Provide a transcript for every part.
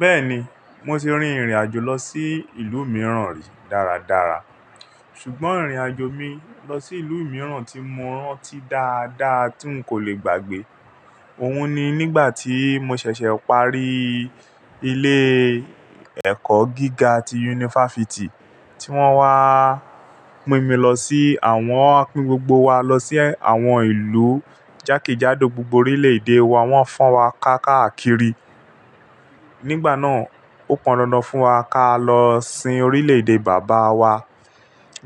Bẹ́ẹ̀ni, mo ti rin ìrìnàjò lọ sí ìlú mìíràn rí dáradára. Ṣùgbọ́n ìrìnàjò mi lọ sí ìlú mìíràn tí mo rántí dáadáa tí n kò le gbàgbé. Òhun ni nígbà tí mo ṣẹ̀ṣẹ̀ parí ilé ẹ̀kọ́ gíga ti yunifásítì tí wọ́n wá mú mi lọ sí àwọn, pín gbogbo wa lọ sí àwọn ìlú jákèjádò gbogbo orílè-èdè wa wón ń fan wa káàkiri. Nígbà náà ó pọn dandan fún wa ká lọ sin orílè-èdè bàbá wa.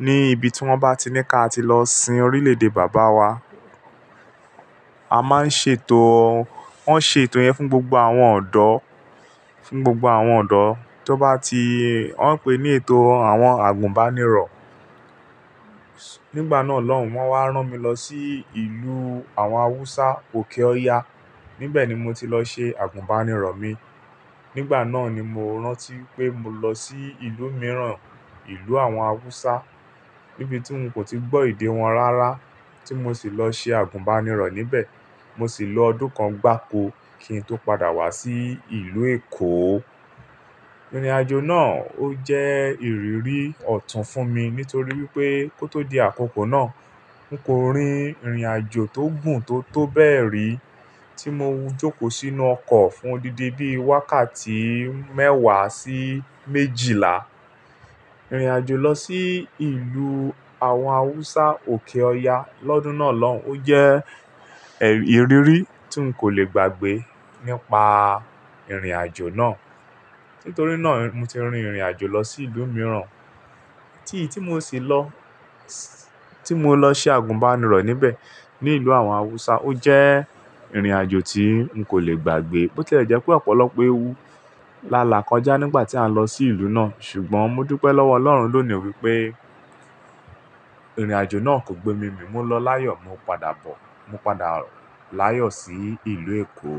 Ni ibi tí wọ́n bá ti ní ká ti lọ sin orílè-èdè bàbá wa. A máa ń ṣe ètò, wọ́n ṣe ètò yẹn fún gbogbo àwọn ọ̀dọ́, fún gbogbo àwọn ọ̀dọ́. Tí ó bá ti, wọ́n ń pè é ní ètò àwọn àgùnbánirọ̀. Nígbà náà lọ́hùn, wọ́n wá rán mi lọ sí ìlú àwọn Haúsá òkè-ọya. Nibẹ̀ ni mo ti lọ ṣe àgùnbánirọ̀ mi. Nígbà náà ni mo rántí pé mo lọ sí ìlú mìíràn, ìlú àwọn Haúsá níbi tí n kò ti gbọ́ èdè wọn rárá tí mo sì lọ ṣe àgùnbánirọ̀ níbẹ̀. Mo sì lo ọdún kan gbáko kí n tó padà wá sí ìlú Èkó. Ìrìnàjò náà ó jẹ́ ìrírí ọ̀tún fún mi nítorí wípé kó tó di àkókò náà, n kò rin ìrìnàjò tó gùn tó tó bẹ́ẹ̀ rí tí mo jókòó sínú ọkọ̀ fún dídé-dé wákàtí mẹ́wàá sí méjìlá. Ìrìnàjò lọ sí ìlú àwọn Haúsá òkè-ọya lọ́dún náà lọ ó jẹ́ ìrírí tí n kò le gbàgbé nípa ìrìnàjò náà. Nítorí náà mo ti rin ìrìnàjò lọ sí ìlú mìíràn tí, tí mo sì lọ, tí mo lọ ṣe àgùnbánirọ̀ níbẹ̀ ní ìlú àwọn Haúsá ó jẹ́ ìrìnàjò tí n kò le gbàgbé. Ó tẹ́lẹ̀ jẹ́ pé ọ̀pọ̀lọpọ̀ ewu lálàá kọjá nígbà tí a ń lọ sí ìlú náà. Ṣùgbọ́n mo dúpẹ́ lọ́wọ́ ọlọ́run lónìí wípé ìrìnàjò náà kò gbe mi mì. Mo lọ láyọ̀, mo padà bọ̀, mo padà láyọ̀ sí ìlú Èkó.